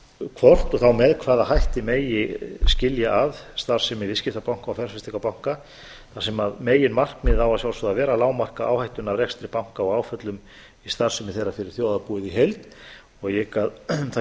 hvort og þá með hvaða hætti megi skilja að starfsemi viðskiptabanka og fjárfestingarbanka þar sem meginmarkmið á að sjálfsögðu að vera að lágmarka áhættuna af rekstri banka og áföllum í starfsemi þeirra fyrir þjóðarbúið í heild og ég hygg að það